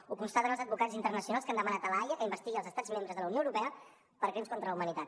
ho constaten els advocats internacionals que han demanat a la haia que investigui els estats membres de la unió europea per crims contra la humanitat